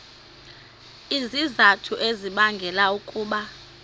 izizathu ezibangela ukuba